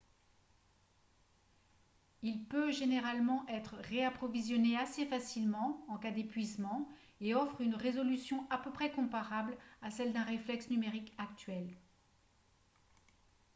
il peut généralement être réapprovisionné assez facilement en cas d'épuisement et offre une résolution à peu près comparable à celle d'un reflex numérique actuel